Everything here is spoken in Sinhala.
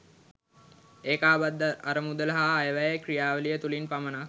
ඒකාබද්ධ අරමුදල හා අයවැය ක්‍රියාවලිය තුළින් පමණක්